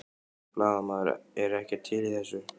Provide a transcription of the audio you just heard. Blaðamaður: Er ekkert til í þessu?